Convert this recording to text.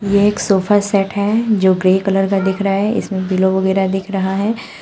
ये एक sofa set है जो ग्रे कलर का दिख रहा है इसमें पिल्लो वगैरा दिख रहा है।